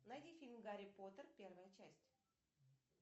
найди фильм гарри поттер первая часть